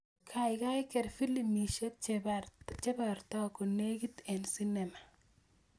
Gaigai ker filimishek chebarta konegit en sinema